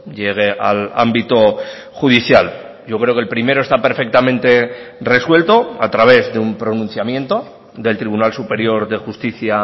llegue al ámbito judicial yo creo que el primero está perfectamente resuelto a través de un pronunciamiento del tribunal superior de justicia